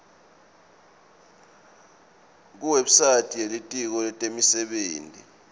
kuwebsite yelitiko letemisebenti